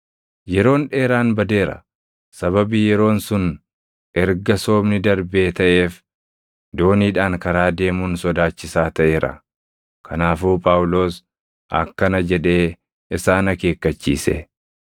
Yeroon dheeraan badeera; sababii yeroon sun erga Soomni darbee taʼeef dooniidhaan karaa deemuun sodaachisaa taʼeera; kanaafuu Phaawulos akkana jedhee isaan akeekkachiise;